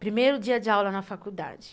Primeiro dia de aula na faculdade.